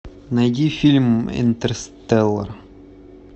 найди фильм интерстеллар